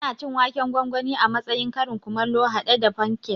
Ana cin waken gwangwani a matsayin karin kumallo haɗe da fankek